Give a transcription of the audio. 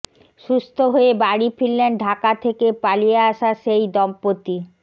সুস্থ হয়ে বাড়ি ফিরলেন ঢাকা থেকে পালিয়ে আসা সেই দম্পতি